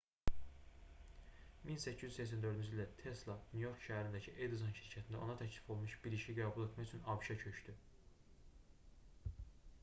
1884-cü ildə tesla nyu-york şəhərindəki edison şirkətində ona təklif olunmuş bir işi qəbul etmək üçün abş-a köçdü